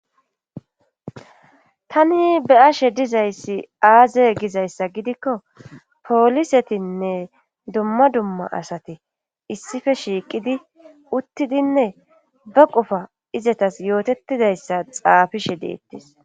Tani be ashe dizayssi aaze gizayssa gidikko poolisetinne dumma dumma asati issife shiiqidi uttidinne ba qufa izatas yootettidayssa xaafishe deettis.